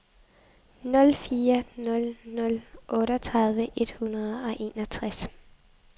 nul fire nul nul otteogtredive et hundrede og enogtres